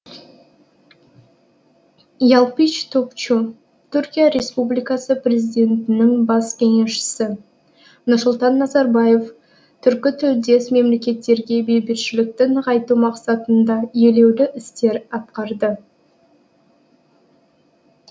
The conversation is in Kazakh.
ялпич топчу түркия республикасы президентінің бас кеңесшісі нұрсұлтан назарбаев түркітілдес мемлекеттерде бейбітшілікті нығайту мақсатында елеулі істер атқарды